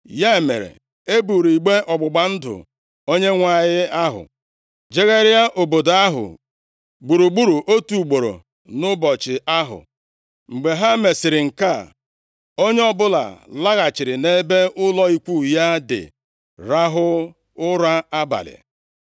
Ya mere, e buuru igbe ọgbụgba ndụ Onyenwe anyị ahụ jegharịa obodo ahụ gburugburu otu ugboro nʼụbọchị ahụ. Mgbe ha mesịrị nke a, onye ọbụla laghachiri nʼebe ụlọ ikwu ya dị rahụ ụra abalị.